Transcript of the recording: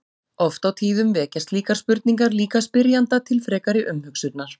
Oft á tíðum vekja slíkar spurningar líka spyrjanda til frekari umhugsunar.